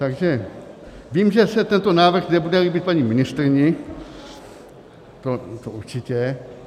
Takže vím, že se tento návrh nebude líbit paní ministryni, to určitě.